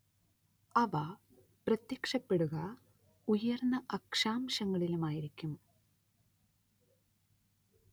അവ പ്രത്യക്ഷപ്പെടുക ഉയർന്ന അക്ഷാംശങ്ങളിലുമായിരിക്കും.